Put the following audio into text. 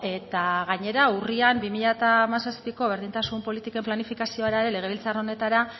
eta gainera urrian bi mila hamazazpiko berdintasun politiken planifikazioa legebiltzar honetara